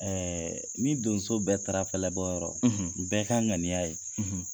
ni donso bɛɛ taara fɛlɛbɔyɔrɔ, u bɛɛ ka ŋaniya ye